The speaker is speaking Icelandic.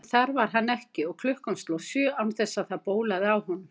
En þar var hann ekki, og klukkan sló sjö án þess það bólaði á honum.